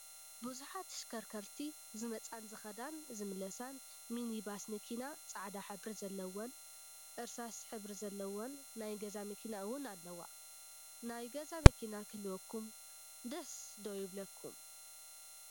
ብዙሓት ተሽከርከርቲ ዝመፃን ዝከዳን ዝምለሳን ምኒማስ መኪና ፃዕዳ ሕብሪ ዘለወ፣ እርስሳስ ሕብሪ ዘለወ ናይ ገዛ መኪና እውን ኣለዋ:: ናይ ገዛ መኪና ክህልወኹም ደስ ዶ ይብለኩም ?